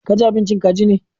Kaji abincin kaji ne.